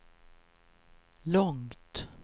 långt